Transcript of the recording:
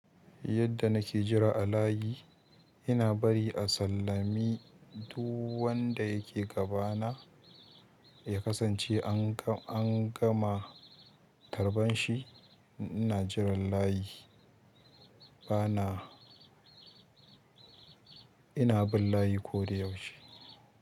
Yadda nake jira a layi, ina bari a sallami duk wanda yake gabana ya kasance an gama tarban shi. Ina jiran layi, bana ina bin layi koda yaushe.